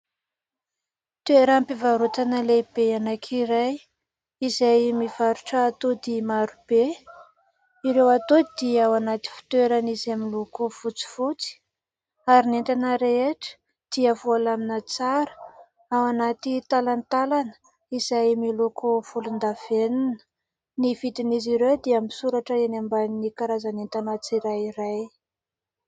Toeram-pivarotana lehibe anankiray izay mivarotra atody maro be. Ireo atody dia ao anaty fitoerana izay miloko fotsifotsy ary ny entana rehetra dia voalamina tsara ao anaty talantalana izay miloko volondavenona. Ny vidin'izy ireo dia misoratra eny ambanin'ny karazan'entana tsirairay.